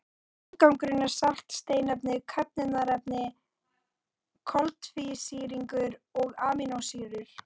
Afgangurinn er salt, steinefni, köfnunarefni, koltvísýringur og amínósýrur.